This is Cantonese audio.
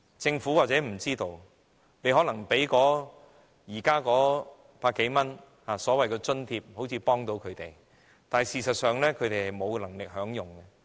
政府或許不知道，當局現時提供百多元的所謂資助，好像能幫助他們，但事實上他們沒有能力享用。